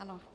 Ano.